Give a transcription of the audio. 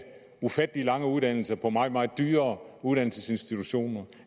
ufattelig lange uddannelser på meget meget dyre uddannelsesinstitutioner